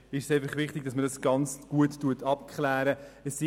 Uns ist es wichtig, dass man dies gut abklären lässt.